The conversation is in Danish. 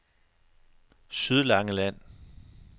Sydlangeland